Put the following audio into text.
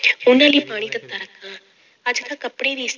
ਉਹਨਾਂ ਲਈ ਪਾਣੀ ਤੱਤਾ ਰੱਖਾਂ, ਅੱਜ ਤਾਂਂ ਕੱਪੜੇ ਵੀ